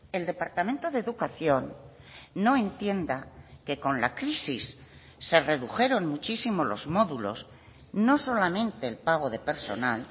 el departamento de educación no entienda que con la crisis se redujeron muchísimos los módulos no solamente el pago de personal